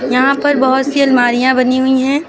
यहां पर बहुत सी अलमारियां बनी हुई हैं।